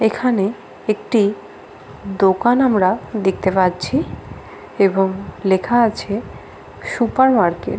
এখানে একটি দোকান আমরা দেখতে পাচ্ছি এবং লেখা আছে সুপার মারকেট।